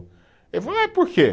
Ah por quê?